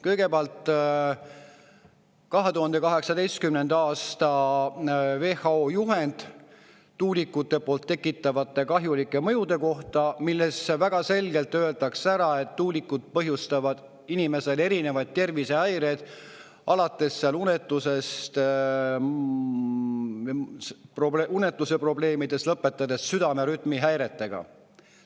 Kõigepealt on 2018. aasta WHO juhend tuulikute poolt tekitatavate kahjulike mõjude kohta, milles väga selgelt öeldakse ära, et tuulikud põhjustavad inimestele erinevaid tervisehäireid, alates unetuseprobleemidest ja lõpetades südamerütmihäiretega.